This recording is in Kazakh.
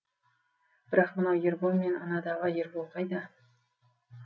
бірақ мынау ербол мен анадағы ербол қайда